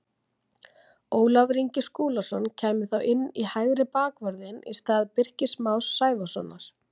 Ólafur Ingi Skúlason kæmi þá inn í hægri bakvörðinn í stað Birkis Más Sævarssonar.